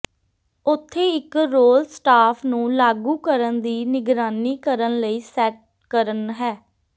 ਉੱਥੇ ਇੱਕ role staff ਨੂੰ ਲਾਗੂ ਕਰਨ ਦੀ ਨਿਗਰਾਨੀ ਕਰਨ ਲਈ ਸੈੱਟ ਕਰਨ ਹੈ